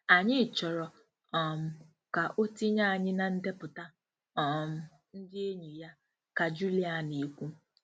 "Anyị chọrọ um ka o tinye anyị na ndepụta um ndị enyi ya,” ka Julia na-ekwu.